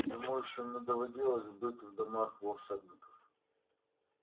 ему ещё не доводилось бывать в домах волшебников